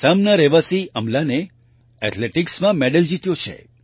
આસામના રહેવાસી અમ્લાને એથલેટિક્સ એથ્લેટિક્સમાં મેડલ જીત્યો છે